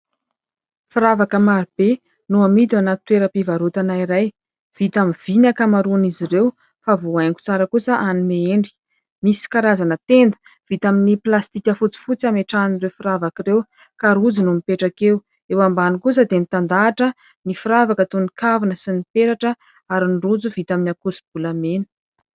Firavaka marobe no amidy ao anaty toeram-pivarotana iray. Vita amin'ny vy ny akamaroan'izy ireo fa voahaingo tsara kosa hanome endrika. Misy karazana tenda vita amin'ny plastika fotsifotsy hametrahana ireo firavaka ireo ka rojo no mipetraka eo. Eo ambany kosa dia mitandahatra ny firavaka toy ny kavina sy ny petratra ary ny rojo vita amin'ny akoso-bolamena.